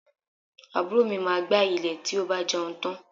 Àbúrò mi máa gbá ilẹ̀ tí ó bá jẹun tán